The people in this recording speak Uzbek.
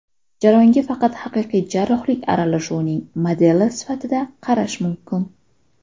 Jarayonga faqat haqiqiy jarrohlik aralashuvining modeli sifatida qarash mumkin.